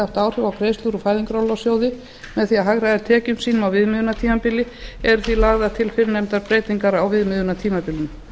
haft áhrif á greiðslur úr fæðingarorlofssjóði með því að hagræða tekjum sínum á viðmiðunartímabili eru því lagðar til fyrrnefndar breytingar á viðmiðunartímabilinu